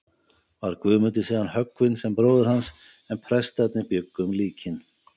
Var Guðmundur síðan höggvinn sem bróðir hans, en prestarnir bjuggu um líkin.